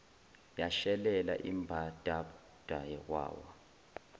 yashelela imbadada wawa